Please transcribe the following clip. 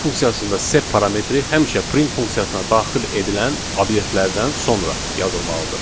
Print funksiyasında sep parametri həmişə print funksiyasına daxil edilən obyektlərdən sonra yazılmalıdır.